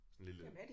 Sådan en lille